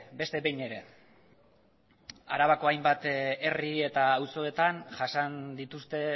beste behin ere arabako hainbat herri eta auzoetan jasan dituzte